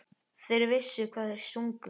Þeir vissu hvað þeir sungu.